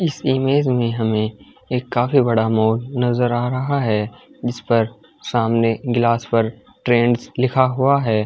इस इमेज में हमें एक काफी बड़ा मॉल नजर आ रहा है जिस पर सामने गिलास पर ट्रेंड्स लिखा हुआ है।